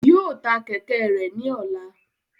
Yóò tá kẹkẹ rẹ ní ọlá